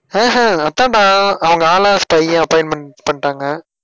ஆஹ் அஹ் அதான்டா அவங்க ஆளா spy ஆ appointment பண்ணிட்டாங்க.